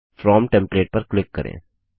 from template पर click करें